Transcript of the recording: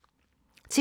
TV 2